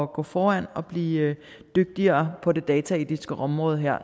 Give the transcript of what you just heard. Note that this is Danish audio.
gå foran og blive dygtigere på det dataetiske område her